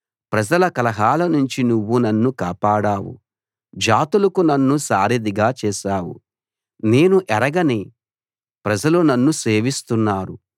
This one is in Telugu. ప్రజల కలహాల నుంచి నువ్వు నన్ను కాపాడావు జాతులకు నన్ను సారధిగా చేశావు నేను ఎరగని ప్రజలు నన్ను సేవిస్తున్నారు